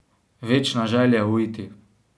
Večna želja uiti.